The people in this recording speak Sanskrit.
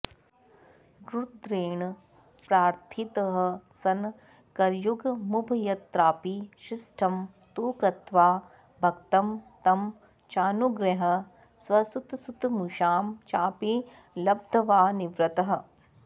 रुद्रेण प्रार्थितः सन् करयुगमुभयत्रापि शिष्टं तु कृत्वा भक्तं तं चानुगृह्य स्वसुतसुतमुषां चापि लब्ध्वा निवृत्तः